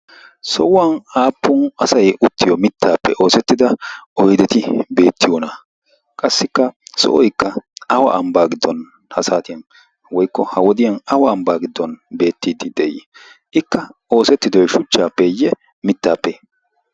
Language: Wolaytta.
sohuwan aappun asai uttiyo mittaappe oosettida oideti beettiyona? qassikka so7oikka awa ambbaa giddon ha saatiyan woikko ha wodiyan awa ambbaa giddon beettiiddi de7ii? ikka oosettidoi shuchchaappeeyye mittaappe?